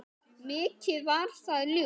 Mikið var það ljúft.